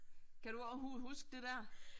Kan du overhovedet huske det der?